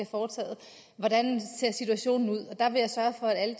foretaget hvordan ser situationen ud jeg vil sørge for at